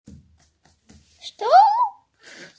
что